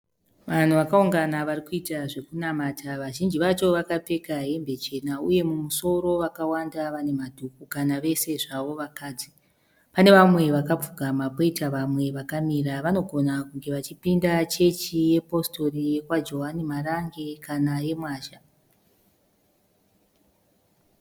Vanhu vazhinji varikuita zvokunamata. Vazhinji vacho vakapfeka hembe chena uye mumusoro vakawanda vane madhuku kana vese zvavo vakadzi. Pane vamwe vakapfugama poita vamwe vakamira. Vanogona kunge vachipinda positori yekwaJowani Marange kana yeMwazha.